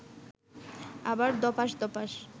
আবার ধপাস্ ধপাস্